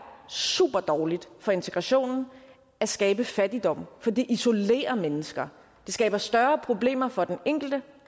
super dårligt for integrationen at skabe fattigdom fordi det isolerer mennesker det skaber større problemer for den enkelte